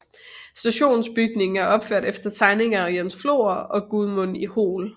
Stationsbygningen er opført efter tegninger af Jens Flor og Gudmund Hoel